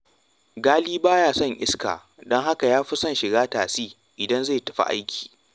Ghali ba ya son iska, don haka ya fi son shiga tasi idan zai tafi aiki